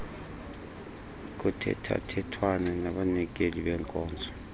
kuthethathethwana nabanikeli benkonzo